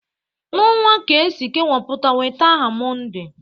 N'ọnwa ka e si kewapụta weta aha Mọnde